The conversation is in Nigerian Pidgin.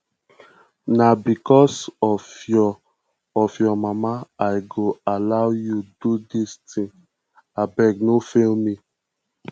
na because of your of your mama i go allow you do dis thing abeg no fail me